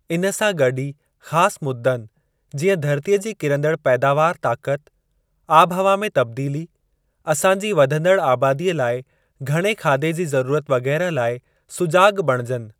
इन सां गॾु ई ख़ासि मुद्दनि, जीअं धरतीअ जी किरंदड़ पैदावार ताक़त, आबिहवा में तब्दीली, असांजी वधंदड़ आबादीअ लाइ घणे खाधे जी ज़रूरत वगैरह लाइ सुजाॻ बणिजनि।